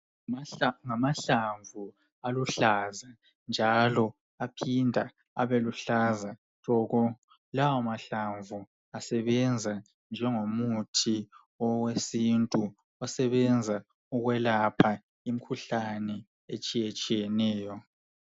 Imithi yesintu isebenza ukwelapha imikhuhlane etshiyeneyo, Eminye yalemithi uyasebenzi amahlamvu akhona.